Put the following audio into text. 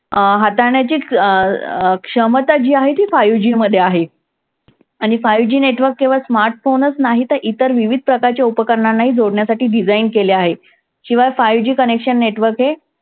अं हाताळण्याची अं अं क्षमता जी आहे ती five G मध्ये आहे. आणि five G network केवळ smart phone च नाही तर इतर विविध प्रकारच्या उपकरणांनाही जोडण्यासाठी design केले आहे. शिवाय five G connection network हे